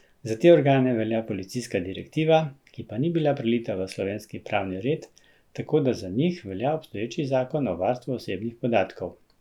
Za te organe velja policijska direktiva, ki pa ni bila prelita v slovenski pravni red, tako da za njih velja obstoječi zakon o varstvu osebnih podatkov.